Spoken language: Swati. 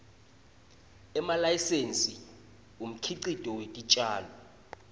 nemalayisensi umkhicito wetitjalo